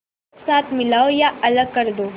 एक साथ मिलाओ या अलग कर दो